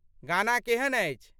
गाना केहन अछि?